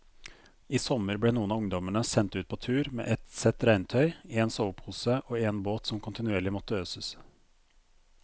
I sommer ble noen av ungdommene sendt ut på tur med ett sett regntøy, en sovepose og en båt som kontinuerlig måtte øses.